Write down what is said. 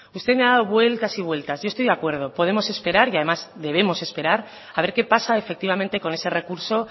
usted me ha dado vueltas y vueltas y estoy de acuerdo podemos esperar y además debemos esperar a ver qué pasa efectivamente con ese recurso